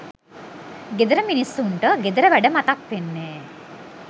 ගෙදර මිනිස්සුන්ට ගෙදර වැඩ මතක් වෙන්නේ.